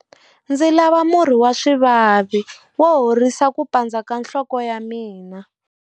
Ndzi lava murhi wa swivavi wo horisa ku pandza ka nhloko ya mina.